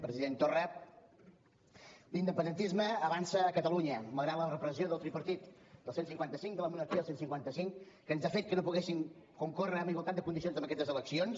president torra l’independentisme avança a catalunya malgrat la repressió del tripartit del cent i cinquanta cinc de la monarquia del cent i cinquanta cinc que ens ha fet que no poguéssim concórrer en igualtat de condicions en aquestes eleccions